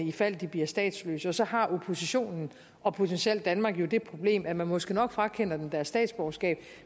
i fald de bliver statsløse og så har oppositionen og potentielt danmark jo det problem at man måske nok frakender dem deres statsborgerskab